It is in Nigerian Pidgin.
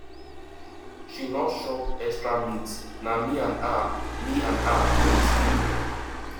she no chop extra meat na me and her me and her wait there